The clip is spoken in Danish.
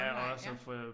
Online ja